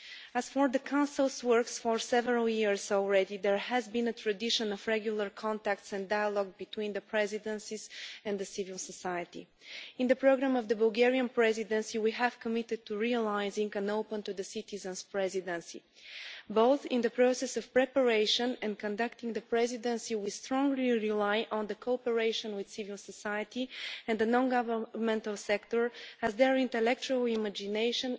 As for the Council's work, for several years already there has been a tradition of regular contact and dialogue between the presidencies and civil society. In the programme of the Bulgarian Presidency we have committed to realising a presidency which is open to citizens. Both in the process of preparation and conducting the Presidency, we strongly rely on cooperation with civil society and the non governmental sector, as their intellectual imagination,